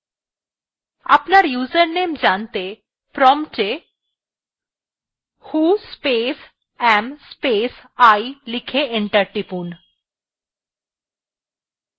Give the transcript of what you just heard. আপনার username জানতে prompt এ who space am space i লিখে enter টিপুন